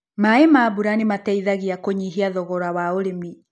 Maĩ ma mbura nĩmateithagia kũnyihia thogora wa ũrĩmi.